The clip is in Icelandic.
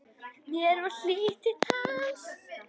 Mér var hlýtt til hans.